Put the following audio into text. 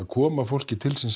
koma fólki til síns